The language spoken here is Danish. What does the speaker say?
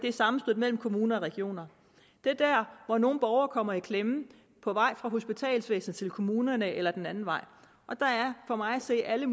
i sammenstødet mellem kommuner og regioner det er dér hvor nogle borgere kommer i klemme på vej fra hospitalsvæsenet til kommunerne eller den anden vej og der er for mig at se alle